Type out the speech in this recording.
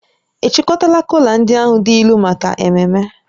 Ị chịkọtala kola ndị ahụ dị ilu maka ememme?